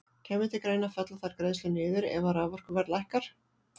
Kæmi til greina að fella þær greiðslur niður ef að raforkuverð lækkar?